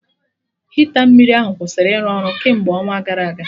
Hita mmiri ahụ kwụsịrị ịrụ ọrụ kemgbe ọnwa gara aga